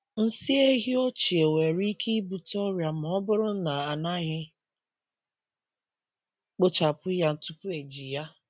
Nsi ehi ochie nwere ike ibute ọrịa ma ọ bụrụ na a naghị kpochapụ ya tupu eji ya.